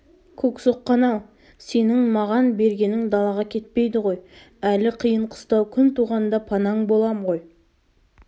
көксоққан-ау сенің маған бергенің далаға кетпейді ғой әлі қиын-қыстау күн туғанда панаң болам ғой